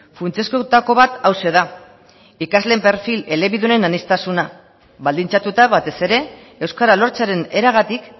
funtsezkoetako bat hauxe da ikasleen perfil elebidunen aniztasuna baldintzatuta batez ere euskara lortzearen eragatik